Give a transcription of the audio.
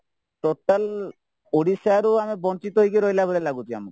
total ଓଡିଶାରୁ ଆମେ ବଂଚିତ ହେଇକି ରହିଲାଭଳି ଲାଗୁଚି ଆମକୁ